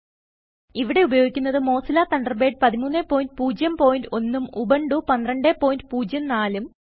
ഇവിടെ ഉപയോഗിക്കുന്നത് Mozilla Thunderbird 1301 ഉം ഉബുണ്ടു 1204 ഉം